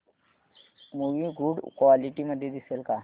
movie good quality मध्ये दिसेल का